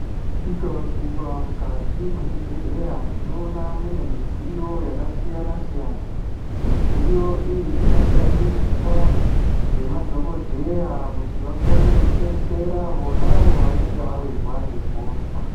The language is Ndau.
Tikaguma mukati mwezvibhedhleya tinoona mune midziyo yakasiyana siyana midziyo iyi inoshandiswa ngemadhokodheya kuti vakone kudetsera vonavo vanenge vawirwa ngehosha.